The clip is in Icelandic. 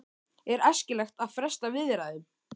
Er æskilegt að fresta viðræðum?